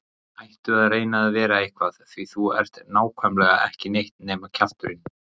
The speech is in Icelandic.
Hættu að reyna að vera eitthvað því að þú ert nákvæmlega ekki neitt nema kjafturinn.